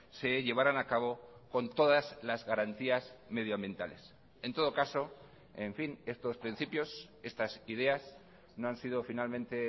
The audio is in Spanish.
se llevaran a cabo con todas las garantías medioambientales en todo caso en fin estos principios estas ideas no han sido finalmente